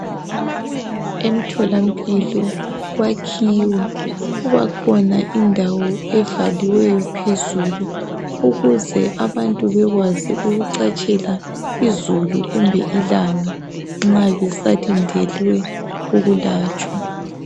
Emtholampilo kwakhiwe. Kubakhona indawo evaliweyo phezulu ukuze abantu bekwazi ukucatshela izulu kumbe ilanga nxa besalindele ukulatshwa.